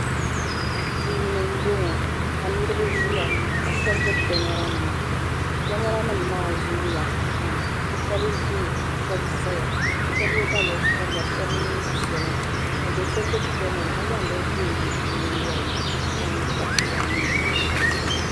Duu ni m-bɔŋɔ ka niriba ʒiya shɛba gbubi kamaranima kamaranima maa zooya pam shɛba ʒimi ka shɛba zaya ka shɛba ye daliya sabila ka shɛba neem'piɛla ka do so gbubi kamara ka zaŋ bini ʒee lo o nyingɔli ni ka kpa ninkpar'sabinli.